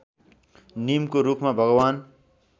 निमको रुखमा भगवान्